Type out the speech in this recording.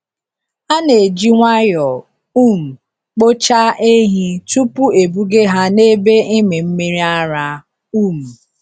A na-eji nwayọọ um kpochaa ehi tupu ebuga ha n’ebe ịmị mmiri ara. um